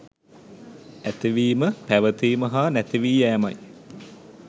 ඇතිවීම, පැවතීම, හා නැතිවී යෑමයි.